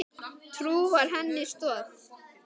Trú var henni stoð.